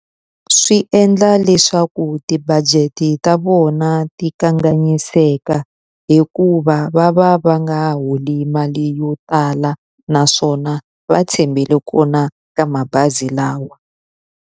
Swi endla leswaku ti-budget-i ta vona ti kanganyiseka hikuva va va va nga holi mali yo tala naswona, va tshembele kona ka mabazi lawa.